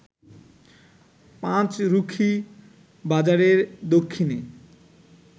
পাঁচরুখি বাজারের দক্ষিণে